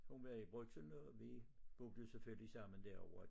Hun var i Brugsen og vi boede selvfølgelig sammen derovre